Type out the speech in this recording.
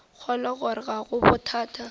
kgolwa gore ga go bothata